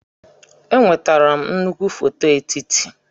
Enwetara m nnukwu foto etiti.